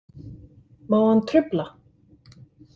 Má hann trufla?